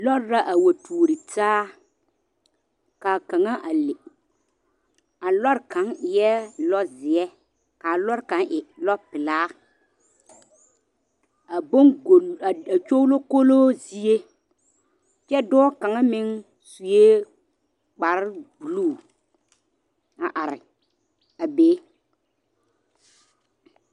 Lɔre la a wa tuori taa, kaa kaŋa a le. A lɔr kaŋ eɛ lɔzeɛ kaa lɔr kaŋ meŋ e lɔpelaa. A boŋgolo a kyoglokoloo zie kyɛ dɔɔ kaŋa meŋ sue kparebuluu a are a be.